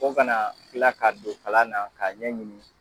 O ka na kila ka don kalan na ka ɲɛ ɲini